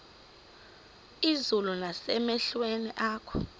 izulu nasemehlweni akho